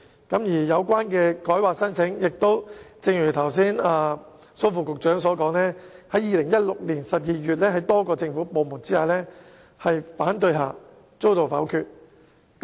至於有關的更改規劃申請，正如剛才蘇副局長所說，於2016年12月在多個政府部門反對下遭到否決。